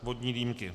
Vodní dýmky.